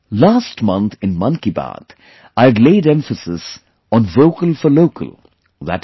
Last month in 'Mann Ki Baat' I had laid emphasis on 'Vocal for Local' i